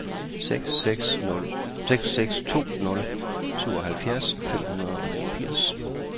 seks seks to nul syvoghalvfjerds fem hundrede og niogfirs